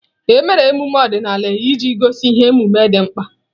Emere ememe ọdịnala iji gosi ihe omume dị mkpa.